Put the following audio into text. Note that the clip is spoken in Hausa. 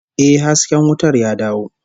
Yes, the light is back